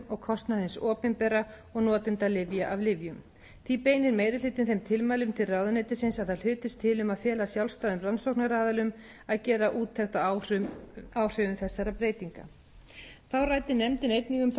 og kostnað hins opinbera og notenda lyfja af lyfjum því beinir meiri hlutinn þeim tilmælum til ráðuneytisins að það hlutist til um að fela sjálfstæðum rannsóknaraðilum að gera úttekt á áhrifum þessara breytinga þá ræddi nefndin einnig um þá breytingu sem felst í sjöttu greinar